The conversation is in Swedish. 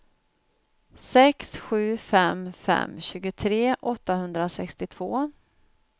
sex sju fem fem tjugotre åttahundrasextiotvå